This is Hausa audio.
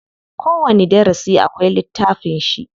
Kowani darasi akwai littafin shi.